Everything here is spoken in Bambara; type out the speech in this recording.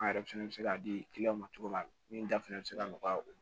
An yɛrɛ fɛnɛ bɛ se ka di ma cogo min na min da fɛnɛ bɛ se ka nɔgɔya o